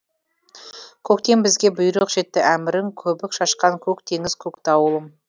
көктен бізге бұйрық жетті әмірің көбік шашқан көк теңіз көк дауылым